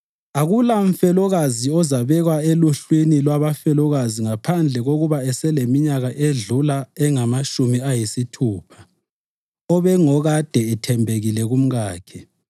Akulamfelokazi ozabekwa eluhlwini lwabafelokazi ngaphandle kokuba eseleminyaka edlula engamatshumi ayisithupha, obengokade ethembekile kumkakhe